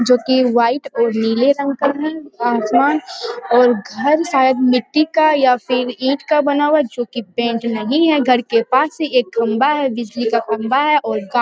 जोकि व्हाइट और नीले रंग का है यहां घर शायद मिट्टी का या फिर ईट का बना हुआ जो कि पेंट नहीं है घर के पास एक खंभा है उसके बिजली का खंभा है और--